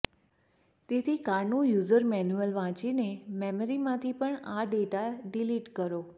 તેથી કારનું user manual વાંચીને મેમરીમાંથી પણ આ ડેટા ડિલીટ કરો